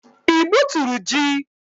Ị gbuturu ji?